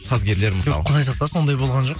сазгерлер мысалы жоқ құдай сақтасын ондай болған жоқ